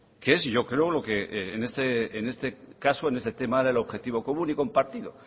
que es yo creo en este caso en este tema era el objetivo común y compartido